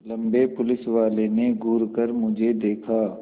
लम्बे पुलिसवाले ने घूर कर मुझे देखा